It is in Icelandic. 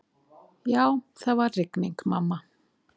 Já, það var rigning, mamma.